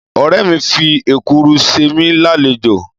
ọ̀rẹ́ mìi fi Èkuru se mí lálejò